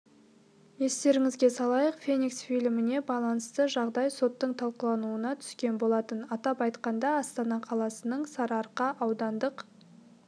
естеріңізге салайық феникс фильміне байланысты жағдай соттың талқылауына түскен болатын атап айтқанда астана қаласының сарыарқа аудандық